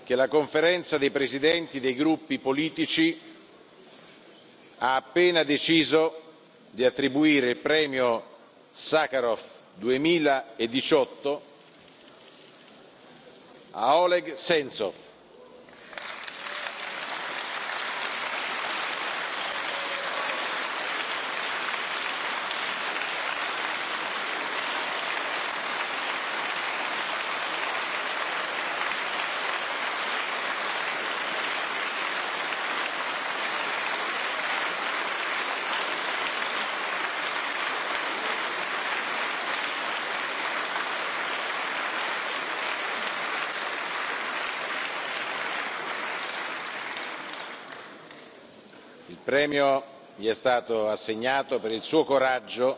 Ho l'onore di annunciare che la Conferenza dei presidenti dei gruppi politici ha appena deciso di attribuire il premio Sacharov 2018 a Oleg Sentsov. Il premio gli è stato assegnato per il suo coraggio